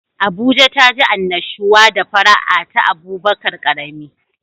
Abuja taji annashuwa da fara'a ta Abubakar karami.